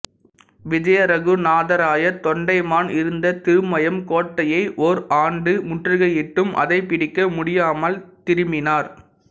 விஜயரகுநாதராய தொண்டைமான் இருந்த திருமயம் கோட்டையை ஓர் ஆண்டு முற்றுகையிட்டும் அதைப் பிடிக்க முடியாமல் திரும்பினார்